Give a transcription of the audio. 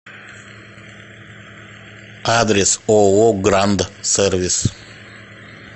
адрес ооо гранд сервис